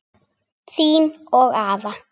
Þín og afa.